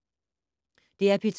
DR P2